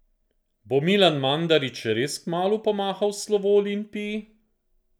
Bo Milan Mandarić res kmalu pomahal v slovo Olimpiji?